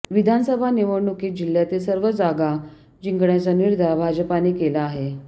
विधानसभा निवडणुकीत जिल्ह्यातील सर्व जागा जिंकण्याचा निर्धार भाजपाने केला आहे